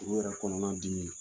Furu yɛrɛ kɔnɔna dimi ye